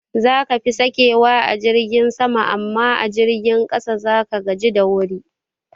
Zaka fi sakewa a jirgin sama amma a jirgin ƙasa zaka gaji da wuri